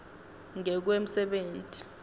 ngekwemsebenti